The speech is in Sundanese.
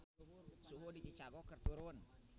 Suhu di Chicago keur turun